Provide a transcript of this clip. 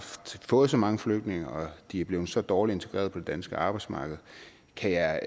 fået så mange flygtninge og at de er blevet så dårligt integreret på det danske arbejdsmarked der